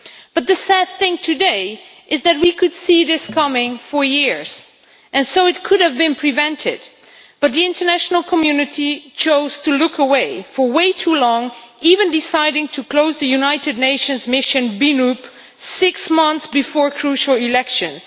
But the sad thing today is that we could see this coming for years, and so it could have been prevented, but the international community chose to look away for way too long, even deciding to close the United Nations Office in Burundi six months before crucial elections.